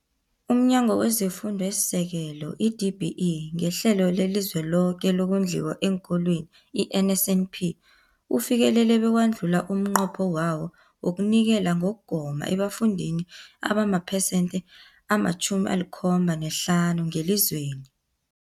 UmNyango wezeFundo esiSekelo, i-DBE, ngeHlelo leliZweloke lokoNdliwa eenKolweni, i-NSNP, ufikelele bewadlula umnqopho wawo wokunikela ngokugoma ebafundini abamaphesenthe ama-75 ngelizwe.